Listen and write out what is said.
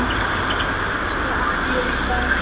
Elsku Addý okkar.